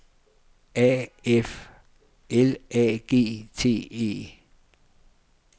A F L A G T E